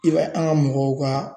I b'a ye an ka mɔgɔw ka